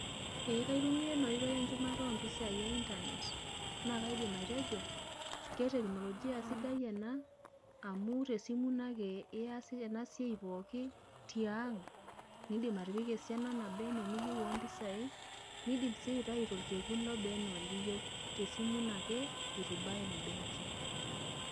Ee kaitumia ena oitoi enchumata ompisai einternet naa kaidim atejo keteknolojia sidai ena amu te simu ino ake ias ena siai pooki , nindim atipika esimu esiana naba anaa eniyieu ompisai , nindim sii aitayu torkekun lobaa anaa eniyieu, tesimu ino ake itu ibaya benki.